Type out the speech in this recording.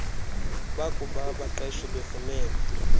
bakuba abaqeshi befumene